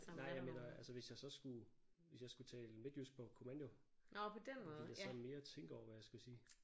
Nej jeg mener altså hvis jeg så skulle hvis jeg skulle tale midtjysk på kommando ville jeg sådan mere tænke over hvad jeg skulle sige